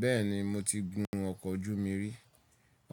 Bẹ́ẹ̀ni mo ti gun ọkọ̀ ojú omi rí.